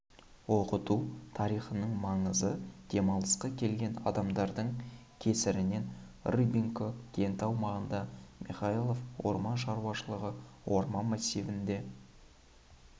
оқыту тарихының маңызы демалысқа келген адамдардың кесірінен рыбкино кенті аумағында михайлов орман шаруашылығы орман массивінде